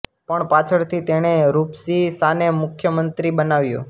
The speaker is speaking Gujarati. પણ પાછળથી તેણે રુપશી શાને મુખ્ય મંત્રી બનાવ્યો